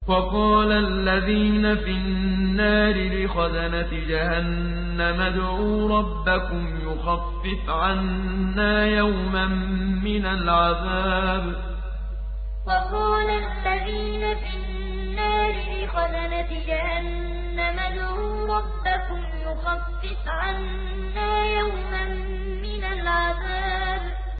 وَقَالَ الَّذِينَ فِي النَّارِ لِخَزَنَةِ جَهَنَّمَ ادْعُوا رَبَّكُمْ يُخَفِّفْ عَنَّا يَوْمًا مِّنَ الْعَذَابِ وَقَالَ الَّذِينَ فِي النَّارِ لِخَزَنَةِ جَهَنَّمَ ادْعُوا رَبَّكُمْ يُخَفِّفْ عَنَّا يَوْمًا مِّنَ الْعَذَابِ